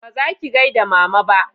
ba zaki gaida mama ba